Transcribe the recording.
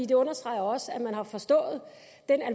det understreger også at man har forstået